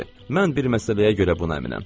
Mən bir məsələyə görə buna əminəm.